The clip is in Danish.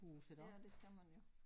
Ja det skal man jo